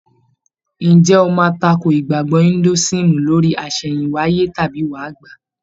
Ǹjẹ́ o máa takò ìgbàgbọ́ Indúísìm lórí àsẹ̀hìnwáyé tàbí wáà gbà á?